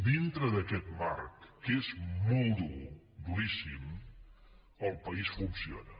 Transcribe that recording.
dintre d’aquest marc que és molt dur duríssim el país funciona